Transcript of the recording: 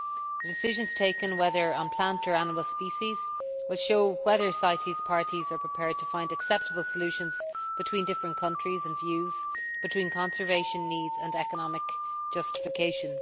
The decisions taken, whether on plant or animal species, will show whether CITES parties are prepared to find acceptable solutions between different countries and views, between conservation needs and economic justification.